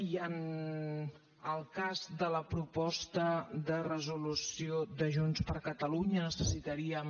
i en el cas de la proposta de resolució de junts per catalunya necessitaríem